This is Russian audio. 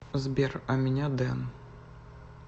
сбер а меня дэн